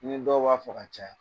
Nin dɔ b'a fɔ ka caya